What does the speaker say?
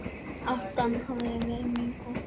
Átan hafi verið mjög góð